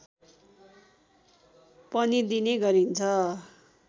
पनि दिने गरिन्छ